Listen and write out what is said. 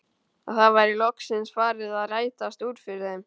Að það væri loksins farið að rætast úr fyrir þeim.